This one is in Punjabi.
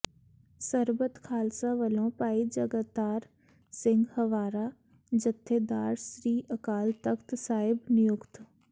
ਸਰਬੱਤ ਖਾਲਸਾ ਵੱਲੋਂ ਭਾਈ ਜਗਤਾਰ ਸਿੰਘ ਹਵਾਰਾ ਜਥੇਦਾਰ ਸ੍ਰੀ ਅਕਾਲ ਤਖ਼ਤ ਸਾਹਿਬ ਨਿਯੁਕਤ